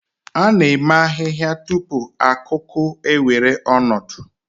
A na-eme ahihia tupu akuku ewere ọnọdụ.